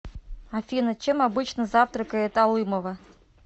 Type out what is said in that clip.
афина чем обычно завтракает алымова